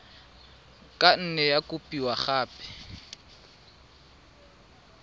ka nne ya kopiwa gape